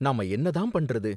நாம என்ன தான் பண்றது?